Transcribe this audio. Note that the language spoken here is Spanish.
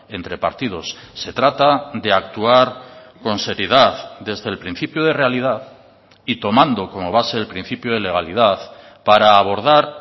entre partidos se trata de actuar con seriedad desde el principio de realidad y tomando como base el principio de legalidad para abordar